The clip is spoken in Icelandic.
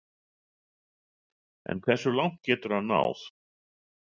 En hversu langt getur hann náð?